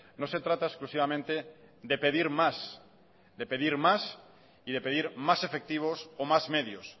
no se trata exclusivamente de pedir más de pedir más y de pedir más efectivos o más medios